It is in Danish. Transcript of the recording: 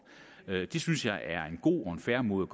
det synes jeg er en god og fair måde